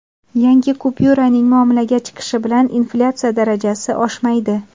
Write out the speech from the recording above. Yangi kupyuraning muomalaga chiqishi bilan inflyatsiya darajasi oshmaydi.